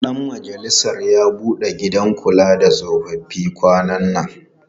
Ɗan majalisar ya buɗe asibitin kula da tsofaffi kwanan nan.